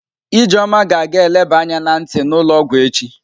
Ijeoma ga-aga ga eleba anya na nti n'ulo ogwu echi.